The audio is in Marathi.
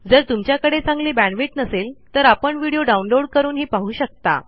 जर तुमच्याकडे चांगली बॅण्डविड्थ नसेल तर आपण व्हिडिओ डाउनलोड करूनही पाहू शकता